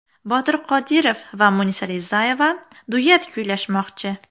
Botir Qodirov va Munisa Rizayeva duet kuylashmoqchi.